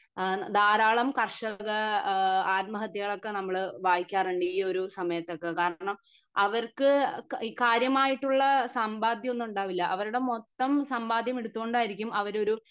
ഇഹ് ധാരാളം കർഷക ഏഹ് ആത്മഹത്യകളൊക്കെ വായിക്കാറുണ്ട് ഈ ഒരു സമയത്ത് ഒക്കെ കാരണം അവർക്ക് കാര്യമായിട്ടുള്ള സമ്പാദ്യം ഒന്നും ഉണ്ടാവില്ല അവരുടെ മൊത്തം സമ്പാദ്യം എല്ലാം എടുത്തുകൊണ്ടായിരിക്കും അവർ ഒരു